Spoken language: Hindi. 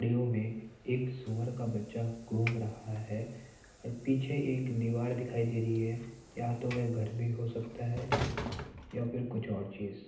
में एक सूअर का बच्चा घूम रहा है और पीछे एक दीवार दिखाई दे रही है या तो वह घर भी हो सकता है या फिर कुछ और चीज।